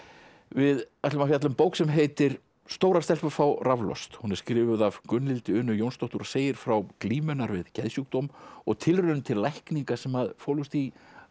við ætlum að fjalla um bók sem heitir stórar stelpur fá raflost hún er skrifuð af Gunnhildi Unu Jónsdóttur og segir frá glímu hennar við geðsjúkdóm og tilraun til lækninga sem fólust í